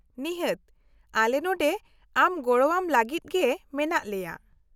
-ᱱᱤᱦᱟᱹᱛ, ᱟᱞᱮ ᱱᱚᱰᱮ ᱟᱢ ᱜᱚᱲᱚᱣᱟᱢ ᱞᱟᱹᱜᱤᱫ ᱜᱮ ᱢᱮᱱᱟᱜ ᱞᱮᱭᱟ ᱾